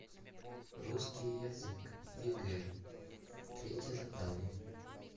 русский язык егэ третье задание